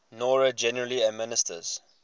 noro generally administer